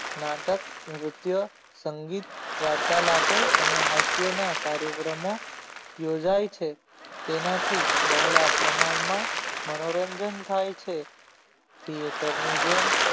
નાટક નૃત્ય સંગીત વાર્તાલાપો અને હાસ્યના કાર્યક્રમો યોજાય છે તેનાથી બહોળા પ્રમાણમાં મનોરંજન થાય છે theater ની જેમ